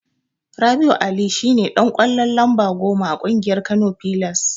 Rabi'u Ali shine Dan ƙwallo lamba goma a ƙungiyar Kano pillars.